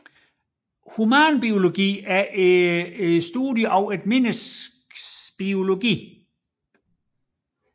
Humanbiologi er studiet af menneskets biologi